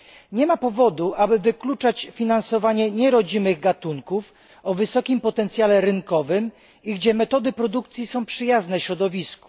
Nie ma powodu, aby wykluczać finansowanie nierodzimych gatunków o wysokim potencjale rynkowym, których metody produkcji są przyjazne środowisku.